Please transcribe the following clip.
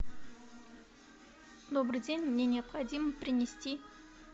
добрый день мне необходимо принести